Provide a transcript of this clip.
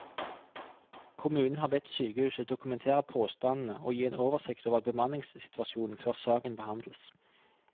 Kommunen har bedt sykehuset dokumentere påstandene og gi en oversikt over bemanningssituasjonen før saken behandles.